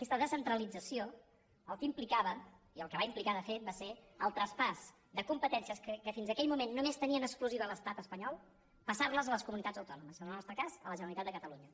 aquesta descentralització el que implicava i el que va implicar de fet va ser el traspàs de competències que fins aquell moment només tenia en exclusiva l’estat espanyol passar les a les comunitats autònomes en el nostre cas a la generalitat de catalunya